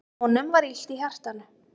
Honum var illt í hjartanu.